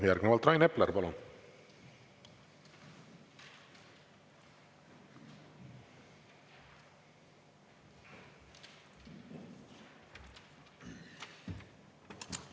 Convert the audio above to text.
Järgnevalt Rain Epler, palun!